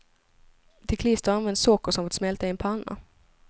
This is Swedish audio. Till klister används socker som fått smälta i en panna.